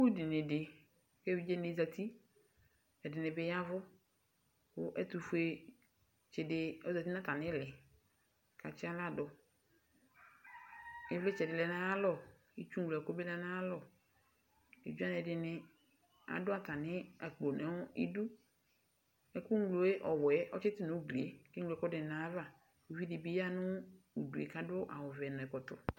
Sukudini di ku evidze dini zati ku ɛdini yavu ku ɛtufue tsidibi yanu atamili ɔkatsi aɣla du ivlitsɛ di lɛ nu ayalɔ itsu ŋlɔ ɛku bi lɛ nu ayalɔ evidzedini adu atami akpo nu idu ɛku ŋlo ɔwɛ atsi tu nu ugli ku akeŋlo ɛku nayava ku uvidi di yanu udu ku akɔ ɛkɔtɔ